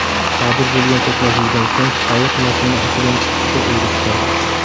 Sodir bo‘lgan to‘qnashuvdan so‘ng ayiq mashina ichidan chiqishga erishgan.